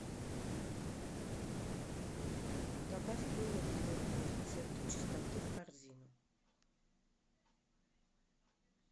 добавь мыло твердое рецепты чистоты в корзину